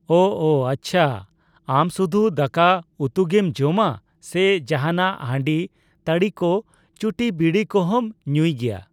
ᱳ ᱳ ᱟᱪᱷᱟ ᱟᱢ ᱥᱩᱫᱷᱩ ᱫᱟᱠᱟ ᱩᱛᱩᱜᱤᱢ ᱡᱚᱢᱟ ᱥᱮ ᱡᱟᱦᱟᱱᱟᱜ ᱦᱟᱸᱰᱤ ᱛᱟᱲᱤᱠᱚ ᱪᱩᱴᱤᱵᱤᱲᱤ ᱠᱚᱦᱚᱸᱢ ᱧᱩᱭᱜᱮᱭᱟ ?